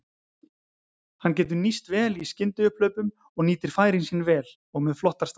Hann getur nýst vel í skyndiupphlaupum og nýtir færin sín vel og með flottar staðsetningar.